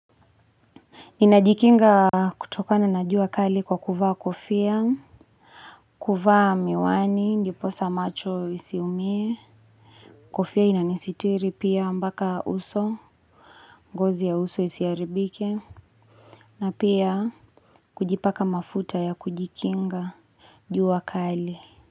Ninajikinga kutokana na jua kali kwa kuvaa kofia, kuvaa miwani, ndiposa macho isiumie, kofia inanisitiri pia mpaka uso, ngozi ya uso isiharibike, na pia kujipaka mafuta ya kujikinga jua kali.